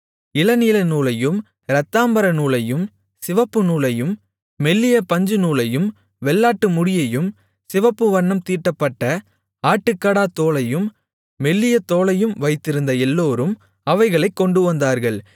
இளநீலநூலையும் இரத்தாம்பரநூலையும் சிவப்புநூலையும் மெல்லிய பஞ்சுநூலையும் வெள்ளாட்டு முடியையும் சிவப்பு வண்ணம் தீட்டப்பட்ட ஆட்டுக்கடாத்தோலையும் மெல்லிய தோலையும் வைத்திருந்த எல்லோரும் அவைகளைக் கொண்டுவந்தார்கள்